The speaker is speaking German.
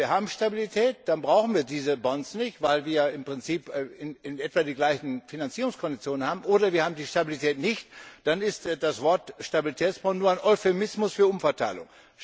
Entweder wir haben Stabilität, dann brauchen wir diese Bonds nicht, weil wir im Prinzip in etwa die gleichen Finanzierungskonditionen haben, oder wir haben die Stabilität nicht, dann ist das Wort Stabilitätsbond nur ein Euphemismus für Umverteilung.